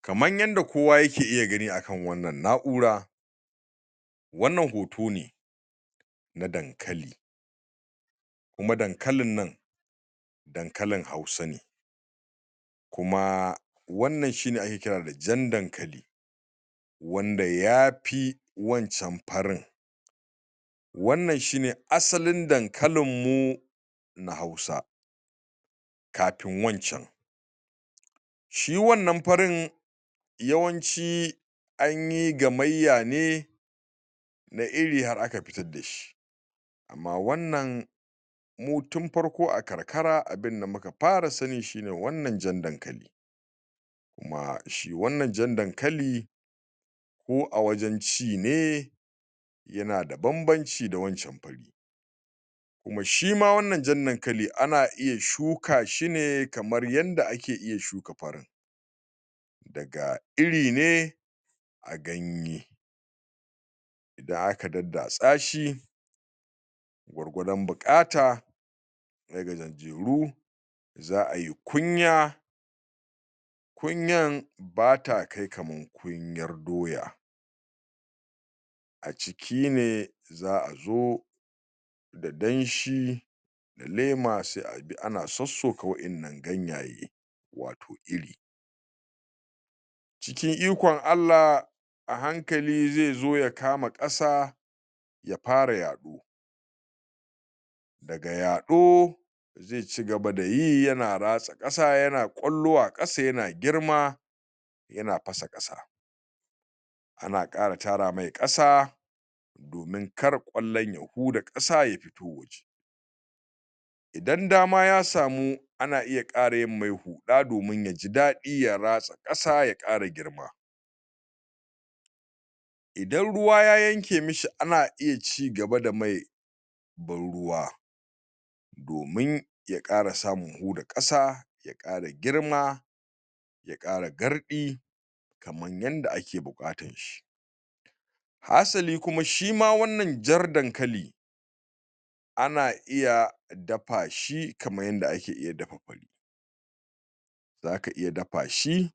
Kaman yanda kowa yake iya gani akan wannan na'ura, wannan hoto ne na dankali, kuma dankalin nan dankalin hausa ne, kuma wannan shine ake kira da jan dankali, wanda ya fi wancan farin, wannan shine asalin dankalinmmu na hausa, kafin wancan shi wannan farin yawanci anyi gamayya ne na iri har aka fitadda shi, amma wannan mu tun farko a karkara abinda muka fara sani shine wannan jan dankali, kuma shi wannan jan dankali ko a wajen ci ne yana da banbanci da wancan fari, kuma shima wannan jan dankali ana iya shuka shi ne kamar yanda ake iya shuka farin daga iri ne a ganye, idan aka daddatsa shi gwargwadon buƙata na gajajjeru za'ai kunya kunyan bata kai kamar kunyan doya a ciki ne za'a zo da danshi na lema se a bi ana sossoka wa'innan ganyaye wato iri cikin ikon A llah a hankali ze zo ya kama ƙasa ya fara yaɗo, daga yaɗo ze cigaba da yi yana ratsa ƙasa yana ƙwallo a ƙasa yana girma yana fasa ƙasa, ana ƙara tara mai ƙasa domin kar ƙwallon ya huda ƙasa ya fito waje, idan dama ya samu ana iya ƙara yinmmai huɗa domin ya ji daɗi ya ratsa ƙasa ya ƙara girma, idan ruwa ya yanke mashi ana iya cigaba da mai ban ruwa, domi ya ƙara samun huda ƙasa ya ƙara girma ya ƙara garɗi kaman yanda ake buƙatan shi, hasali kuma shima wannan jar dankali ana iya dafa shi kamar yanda ake iya dafa fari, zaka iya dafa shi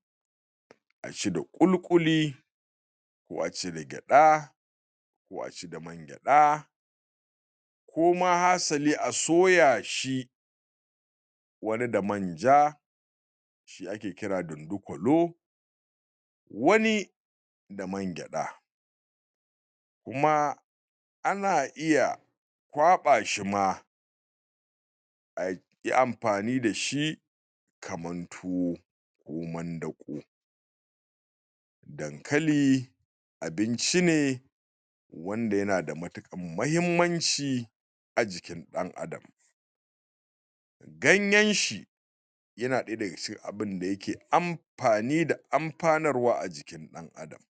a ci da ƙulƙuli, ko a ci da gyaɗa, ko a ci da man gyaɗa, koma hasali a soya shi wani da manja, shi ake kira dondokolo wani da man gyaɗa kuma ana iya kwaɓa shi ma ayi amfani da shi kaman tuwo ko mandaƙo, dankali abinci ne wanda yana da matiƙan mahimmanci a jikin ɗan adam, ganyanshi yana ɗaya daga cikin abinda yake amfani da amfanarwa a jikin ɗan adam,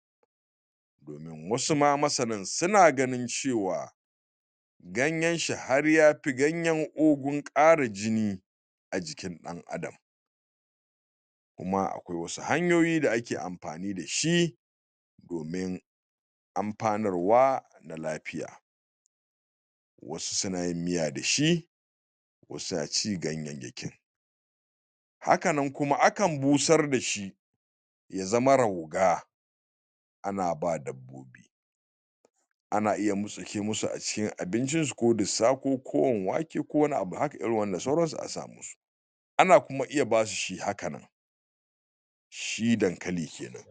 domin wasu ma masanan sina ganin cewa ganyenshi har yafi ganyen ogun ƙara jini a jikin ɗan adam, kuma akwai wasu hanyoyi da ake amfani da shi domin amfanarwa na lafiya, wasu suna yin miya da shi wasu na ci gannyayyakin, haka nan kuma akan busar da shi ya zama rauga ana ba dabbobi, ana iya murtsike masu a cikin abincinsu ko dissa ko kowan wanke ko wani abu haka irin wanda sauransu a sa masu, ana kuma iya basu shi haka nan. shi dankali kenan.